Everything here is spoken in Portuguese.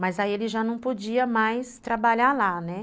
Mas aí ele já não podia mais trabalhar lá, né?